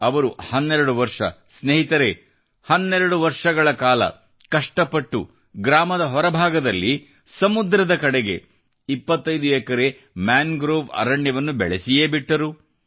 ಅವರು 12 ವರ್ಷ ಸ್ನೇಹಿತರೇ 12 ವರ್ಷಗಳ ಕಾಲ ಕಷ್ಟಪಟ್ಟು ಗ್ರಾಮದ ಹೊರಭಾಗದಲ್ಲಿ ಸಮುದ್ರದ ಕಡೆಗೆ 25 ಎಕರೆ ಮ್ಯಾಂಗ್ರೋವ್ ಅರಣ್ಯವನ್ನು ಬೆಳೆಸಿಯೇ ಬಿಟ್ಟರು